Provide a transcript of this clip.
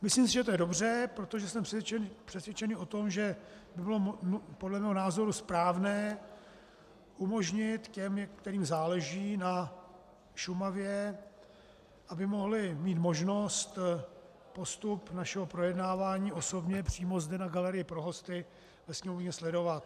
Myslím si, že to je dobře, protože jsem přesvědčený o tom, že by bylo podle mého názoru správné umožnit těm, kterým záleží na Šumavě, aby mohli mít možnost postup našeho projednávání osobně přímo zde na galerii pro hosty ve sněmovně sledovat.